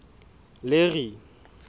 larry